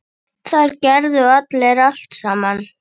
Þar gerðu allir allt saman.